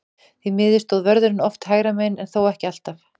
Því miður stóð vörðurinn oft hægra megin, en þó ekki alltaf.